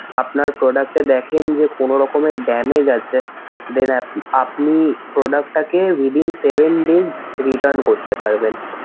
আপনার product এ দেখেন যে কোনো রকমের damage আছে then আপনি product টাকে within seven days return করতে পারবেন।